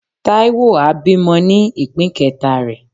Taiwo a bimò ni ipín keta re.